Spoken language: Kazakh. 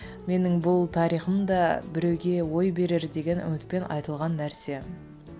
менің бұл тарихым да біреуге ой берер деген үмітпен айтылған нәрсе